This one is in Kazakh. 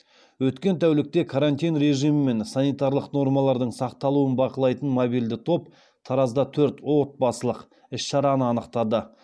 өткен тәулікте карантин режимі мен санитарлық нормалардың сақталуын бақылайтын мобильді топ таразда төрт отбасылық іс шараны анықтады